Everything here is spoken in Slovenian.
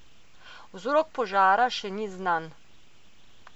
Vzrok požara še ni znan.